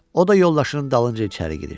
O da yoldaşının dalınca içəri girir.